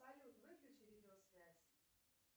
салют выключи видеосвязь